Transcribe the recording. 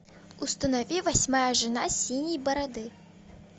установи восьмая жена синей бороды